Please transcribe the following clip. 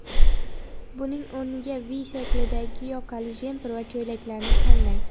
Buning o‘rniga V shaklidagi yoqali jemper va ko‘ylaklarni tanlang.